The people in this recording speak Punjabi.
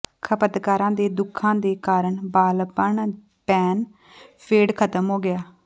ਖਪਤਕਾਰਾਂ ਦੇ ਦੁੱਖਾਂ ਦੇ ਕਾਰਨ ਬਾਲਪੱਣ ਪੈਨ ਫੇਡ ਖਤਮ ਹੋ ਗਿਆ